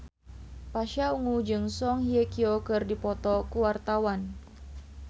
Pasha Ungu jeung Song Hye Kyo keur dipoto ku wartawan